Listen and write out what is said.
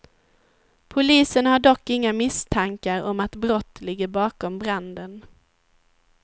Polisen har dock inga misstankar om att brott ligger bakom branden.